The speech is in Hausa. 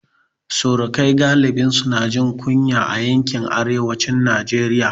Surukai galibi su na jin kunya a yankin arewacin Najeriya